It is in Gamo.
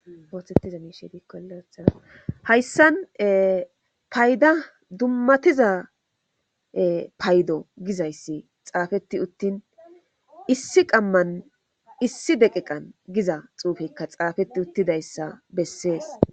ooththettiza miishe diikkole oothana hayssan payda dummatiza paydo gizayssi xaafetti uttin issi qamman issi deqeqan giza xuufekka xaafetti uttidayssa bessees